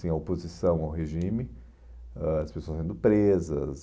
tinha a oposição ao regime, ãh as pessoas sendo presas.